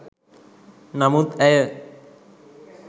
නමුත් ඇය